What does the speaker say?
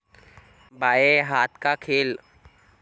बाये हाथ का खेल